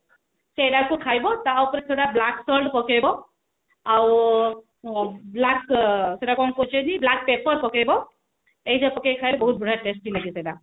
ସେଇଆ କୁ ଖାଇବ ତ ଉପରେ ସେଗୁଡା black salt ପକେଇବ ଆଉ black salt ସେଟ କଣ କହୁଛନ୍ତି black paper ପକେଇବ ସେଇଟା ପକେଇ ଖାଇଲେ ବହୁତ test ଲାଗିବ